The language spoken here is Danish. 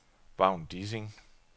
Vagn Dissing